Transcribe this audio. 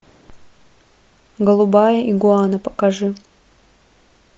голубая игуана покажи